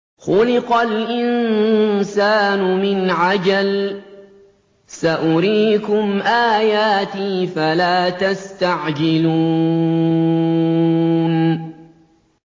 خُلِقَ الْإِنسَانُ مِنْ عَجَلٍ ۚ سَأُرِيكُمْ آيَاتِي فَلَا تَسْتَعْجِلُونِ